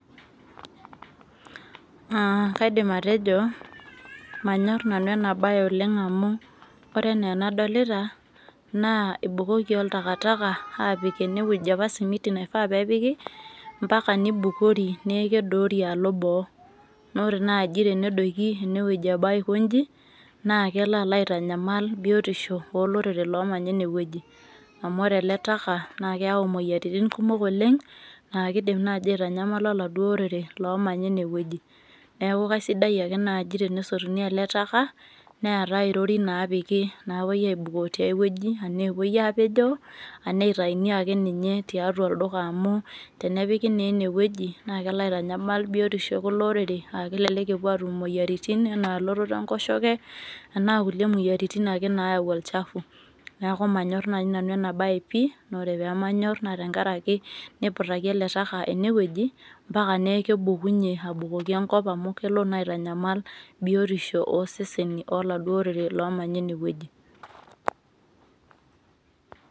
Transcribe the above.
Kaidim atejo manyor nanu ena baye oleng amu ore enaa anadolita naa ebukoki oltakataka aapik enewueji apa naifaa nepiki neeku keibuko ombaka nedoori alo boo naa ore naa denedoiki enewueji aikonji naa kelo aitanyamal biotisho olorere loomanya ene wueji amu ore ele taka naakeyau imoyiaritin kumok oleng aa keidim naaji aitanyamala olopeny oladuo orere loomanya enewueji neeku kaisidai ake naaji tenesotuni ele taka neetai irorin naapiki naapuoi aaibukoo tiaiwueji enaa epuo aapejoo enaa eitumiya akeninye tiatua olduka amu tenepiki naa enewueji naa kelo aitanyamal biotisho ekulo oreore aa kelek ee epuoatum imoyiaritin enaa elototo enkoshoke enaa kulie moyiaritin ake naayau olchafu neeku manyor nanu ena baye pih na ore pee manyor naa tenkaraki neiputaki ele taka enewueji mpaka neeku kebukunyie abukoki enkop amu kelo naa aitanyamal biotisho ooseseni oladuo orere oomanya enewueji